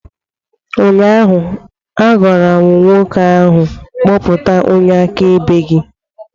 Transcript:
Ụnyaahụ m gwara nwoke ahụ, kpọta onye akaebe gị!